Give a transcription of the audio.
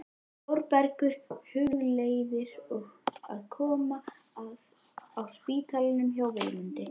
Þórbergur hugleiðir að koma að á spítalanum hjá Vilmundi.